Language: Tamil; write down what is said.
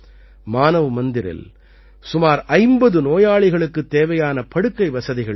மானவ் மந்திரில் சுமார் 50 நோயாளிகளுக்குத் தேவையான படுக்கை வசதிகள் உண்டு